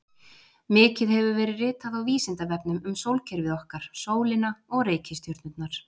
Mikið hefur verið ritað á Vísindavefnum um sólkerfið okkar, sólina og reikistjörnurnar.